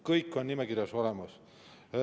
Kõik on nimekirjas olemas.